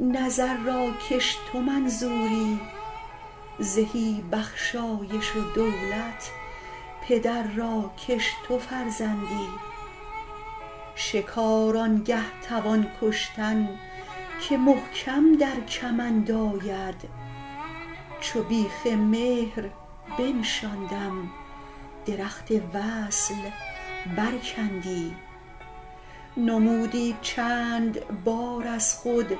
نظر را کش تو منظوری زهی بخشایش و دولت پدر را کش تو فرزندی شکار آن گه توان کشتن که محکم در کمند آید چو بیخ مهر بنشاندم درخت وصل برکندی نمودی چند بار از خود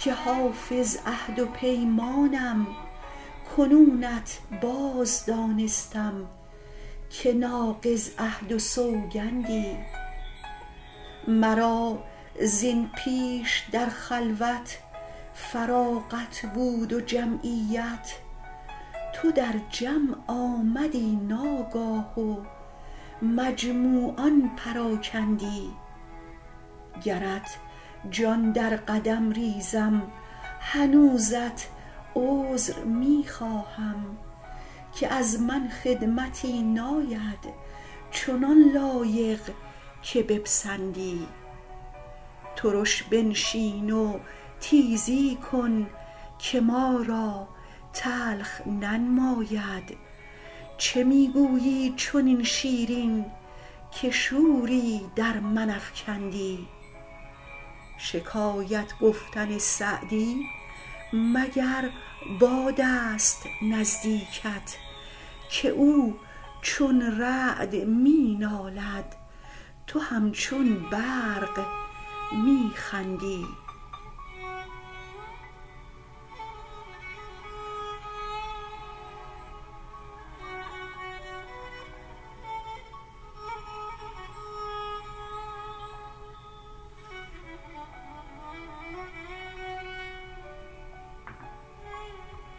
که حافظ عهد و پیمانم کنونت باز دانستم که ناقض عهد و سوگندی مرا زین پیش در خلوت فراغت بود و جمعیت تو در جمع آمدی ناگاه و مجموعان پراکندی گرت جان در قدم ریزم هنوزت عذر می خواهم که از من خدمتی ناید چنان لایق که بپسندی ترش بنشین و تیزی کن که ما را تلخ ننماید چه می گویی چنین شیرین که شوری در من افکندی شکایت گفتن سعدی مگر باد است نزدیکت که او چون رعد می نالد تو همچون برق می خندی